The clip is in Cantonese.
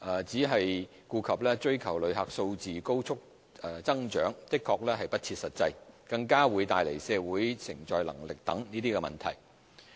只顧追求旅客數字高速增長的確是不切實際，更會帶來社會承載能力等問題。